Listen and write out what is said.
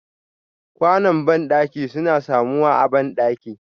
Ƙwano bandaki suna samuwa a bandaki.